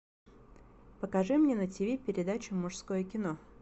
покажи мне на тиви передачу мужское кино